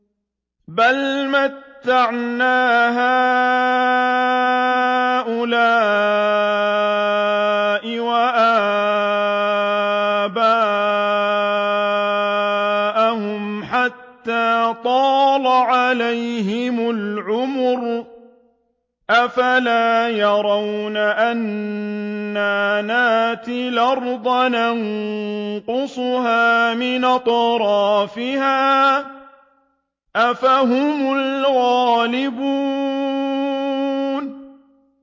بَلْ مَتَّعْنَا هَٰؤُلَاءِ وَآبَاءَهُمْ حَتَّىٰ طَالَ عَلَيْهِمُ الْعُمُرُ ۗ أَفَلَا يَرَوْنَ أَنَّا نَأْتِي الْأَرْضَ نَنقُصُهَا مِنْ أَطْرَافِهَا ۚ أَفَهُمُ الْغَالِبُونَ